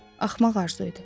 Axmaq arzu idi.